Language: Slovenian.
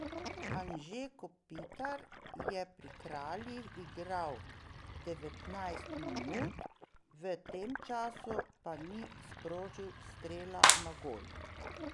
Anže Kopitar je pri Kraljih igral devetnajst minut, v tem času pa ni sprožil strela na gol.